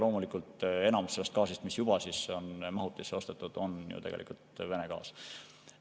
Loomulikult enamus sellest gaasist, mis juba on mahutisse ostetud, on ju tegelikult Vene gaas.